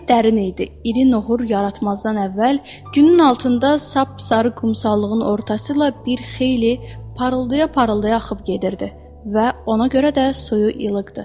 Çay dərin idi, iri nohuru yaratmazdan əvvəl, günün altında sap sarı qumsallığın ortası ilə bir xeyli parıldaya-parıldaya axıb gedirdi və ona görə də suyu ilıqdır.